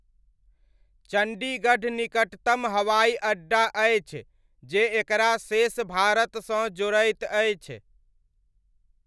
चण्डीगढ़ निकटतम हवाइअड्डा अछि जे एकरा शेष भारतसँ जोड़ैत अछि।